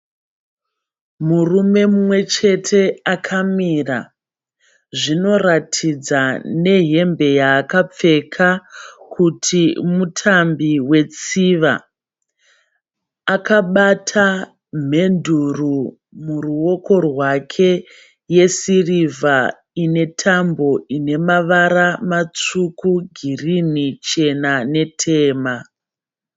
Murume mumwe chete akamira. Zvinoratidza nehembe yaakapfeka kuti mutambi wetsiva. Akabata mhenduro muruoko rwake yesirivha inetambo inemavara matsvuku, girinhi, chena netema.